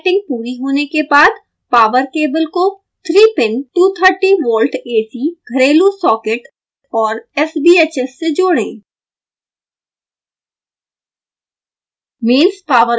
jumper कि setting पूरी होने के बाद पॉवर केबल को 3 pin 230 volt ac घरेलु सॉकेट और sbhs से जोड़ें